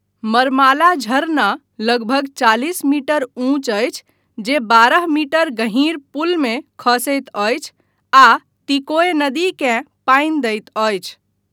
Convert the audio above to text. मर्माला झरना लगभग चालिस मीटर ऊँच अछि, जे बारह मीटर गँहीर पुलमे खसैत अछि आ तीकोय नदीकेँ पानि दैत अछि।